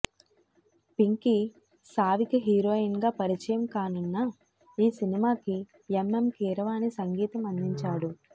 Pinky Savika heroine గా పరిచయం కానున్న ఈ సినిమాకి ఎంఎం కీరవాణి సంగీతం అందించాడు